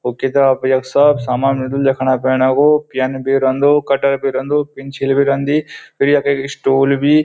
वो किताब यख सब सामान मिल्दु लिखणा पड़ना कु प्यन भी रेंदु कटर भी रेंदु पेंछिल भी रेंदी फिर यखा एक स्टूल भी।